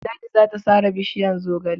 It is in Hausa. Ladi za ta sare bishiyar zogale..